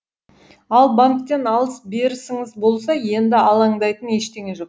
ал банктен алыс берісіңіз болса енді алаңдайтын ештеңе жоқ